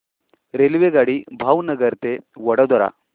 रेल्वेगाडी भावनगर ते वडोदरा